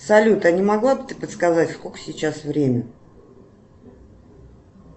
салют а не могла бы ты подсказать сколько сейчас времени